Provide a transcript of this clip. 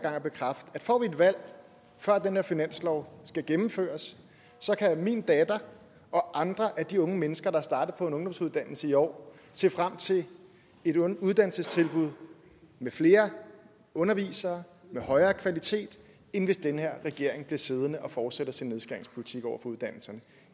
gang og bekræfte at får vi et valg før den her finanslov skal gennemføres så kan min datter og andre af de unge mennesker der er startet på en ungdomsuddannelse i år se frem til et uddannelsestilbud med flere undervisere med højere kvalitet end hvis den her regering bliver siddende og fortsætter sin nedskæringspolitik over for uddannelserne